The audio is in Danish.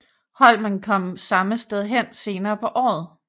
Holmen kom samme sted hen senere på året